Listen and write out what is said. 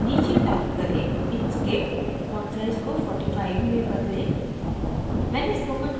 logo के नीचे type करें inkscape font size को 45 में बदलें